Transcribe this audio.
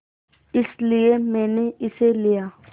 इसलिए मैंने इसे लिया